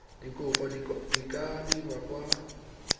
dikopo di ka dirwa kwa